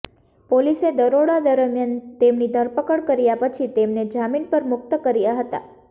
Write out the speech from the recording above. પોલીસે દરોડા દરમ્યાન તેમની ધરપકડ કર્યા પછી તેમને જામીન પર મુક્ત કર્યા હતા